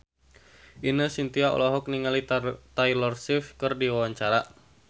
Ine Shintya olohok ningali Taylor Swift keur diwawancara